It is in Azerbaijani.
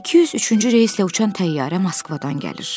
203-cü reyslə uçan təyyarə Moskvadan gəlir.